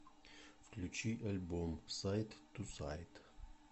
включи альбом сайд ту сайд